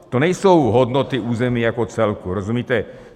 To nejsou hodnoty území jako celku, rozumíte.